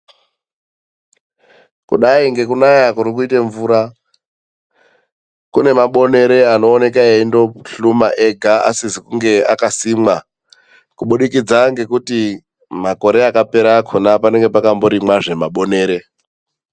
Kudai ngekunaya kurikuita mvura, kunemabonere anooneka eindohluma ega asizi kunge akasimwa, kubudikidza ngekuti makore akapera akhona panenge pakamborimwazve mabonere.